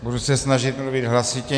Budu se snažit mluvit hlasitě.